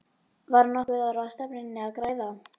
Var nokkuð á ráðstefnunni að græða?